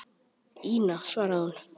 Ína, svaraði hún.